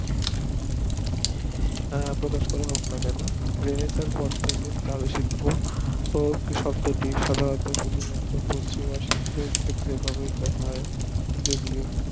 প্রকাশ করা হতো না কেন পর থাকে চারু শিল্প ও কৃষকদের শিল্প পশ্চিমা শিল্পের ক্ষেত্রে ব্যাবহৃত হয় যদিও